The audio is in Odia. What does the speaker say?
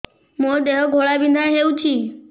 ମୋ ଦେହ ଘୋଳାବିନ୍ଧା ହେଉଛି